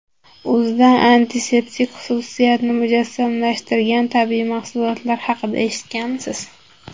O‘zida antiseptik xususiyatni mujassamlashtirgan tabiiy mahsulotlar haqida eshitganmisiz?